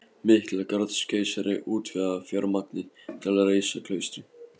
Miklagarðskeisari útvegaði fjármagnið til að reisa klaustrið